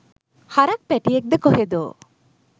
හරක් පැටියෙක්ද කොහෙදෝ